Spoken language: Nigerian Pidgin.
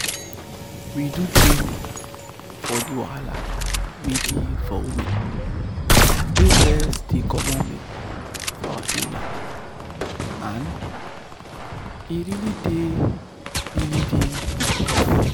we do traning for the wahala wey dey for women wey breast dey comot milk for our area and e really dey really dey helpful.